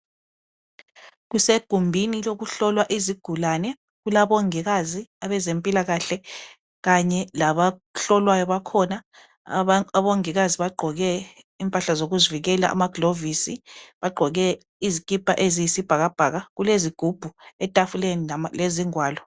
Kusegumbini lokuhlolwa izigulane kulabongikazi abezempilakahle kanye labahlolwayo bakhona. Abongikazi bagqoke impahla zokuzivikela, amagilovisi. Bagqoke izikipa eziyisibhakabhaka kulezigubhu etafuleni lezingwalo.